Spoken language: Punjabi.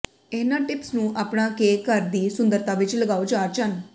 ਇਹਨਾਂ ਟਿਪਸ ਨੂੰ ਅਪਣਾ ਕੇ ਘਰ ਦੀ ਸੁੰਦਰਤਾ ਵਿਚ ਲਗਾਓ ਚਾਰ ਚੰਨ